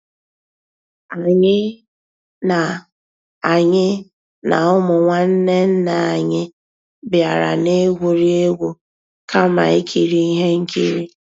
Ànyị́ ná Ànyị́ ná ụmụ́ nnwànné nná ànyị́ bìàrà ná-ègwúrí égwu kàmà ìkírí íhé nkírí.